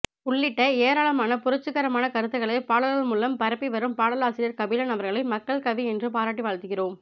உள்ளிட்ட ஏராளமான புரட்சிகரமான கருத்துகளைப் பாடல்கள் மூலம் பரப்பிவரும் பாடலாசிரியர் கபிலன் அவர்களை மக்கள்கவி என்று பாராட்டி வாழ்த்துகிறோம்